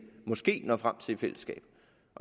måske når frem til i fællesskab